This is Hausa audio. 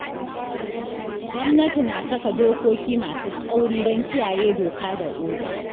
Gwamnati na saka dokoki masu tsauri don kiyaye doka da oda.